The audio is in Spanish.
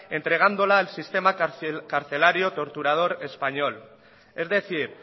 entregándola al sistema carcelario torturador español es decir